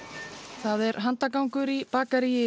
það er handagangur í bakaríi